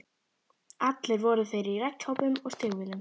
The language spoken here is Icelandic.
Allir voru þeir í regnkápum og stígvélum.